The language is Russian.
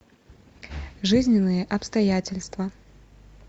жизненные обстоятельства